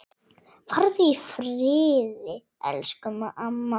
Farðu í friði, elsku amma.